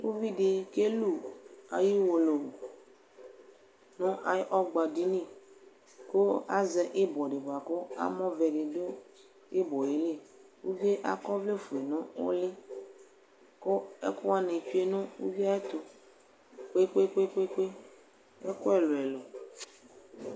uvi di kelu ayi uwolowu no ayi ɔgba dini ko azɛ ibɔ di boa ko amɔ vɛ di do ibɔ yɛ li uvie akɔ ɔvlɛ fue no òli ko ɛko wani tsue no uvie ayɛto kpe kpe kpe ɛko ɛlo ɛlo